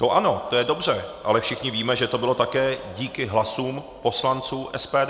To ano, to je dobře, ale všichni víme, že to bylo také díky hlasům poslanců SPD.